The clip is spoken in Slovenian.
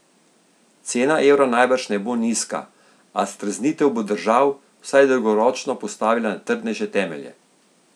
Cena evra najbrž ne bo nizka, a streznitev bo držav vsaj dolgoročno postavila na trdnejše temelje.